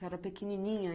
Você era pequenininha?